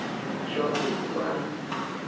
вот черт ебаный